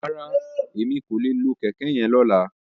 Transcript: Rárá, Emi ko le lo kẹkẹ yen lola.